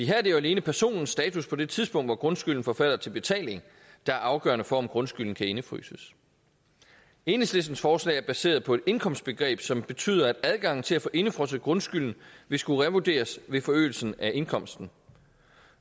her er det jo alene personens status på det tidspunkt hvor grundskylden forfalder til betaling der er afgørende for om grundskylden kan indefryses enhedslistens forslag er baseret på et indkomstbegreb som betyder at adgangen til at få indefrosset grundskylden vil skulle revurderes ved forøgelsen af indkomsten